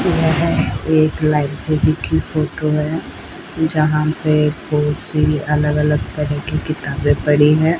यह एक लाइब्रेरी की फोटो है जहां पे बहुत सी अलग अलग तरह की किताबें पड़ी हैं।